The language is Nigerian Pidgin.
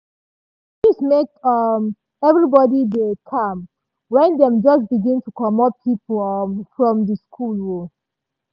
na news make um everybody dey calm wen dem just begin to comot pipo um from di school. um